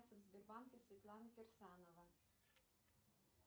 в сбербанке светлана кирсанова